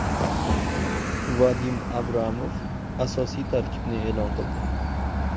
Vadim Abramov asosiy tarkibni e’lon qildi.